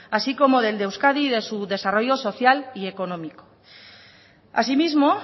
así como del de euskadi de su desarrollo social y económico asimismo